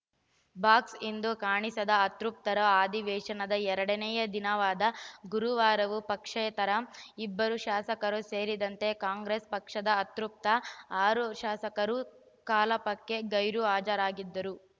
box ಇಂದೂ ಕಾಣಿಸದ ಅತೃಪ್ತರು ಅಧಿವೇಶನದ ಎರಡನೇ ದಿನವಾದ ಗುರುವಾರವೂ ಪಕ್ಷೇತರ ಇಬ್ಬರು ಶಾಸಕರು ಸೇರಿದಂತೆ ಕಾಂಗ್ರೆಸ್‌ ಪಕ್ಷದ ಅತೃಪ್ತ ಆರು ಶಾಸಕರು ಕಲ ಪಕ್ಕೆ ಗೈರು ಹಾಜರಾಗಿದ್ದರು